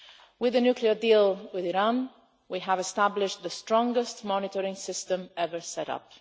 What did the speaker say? With a nuclear deal with Iran, we have established the strongest monitoring system ever set up.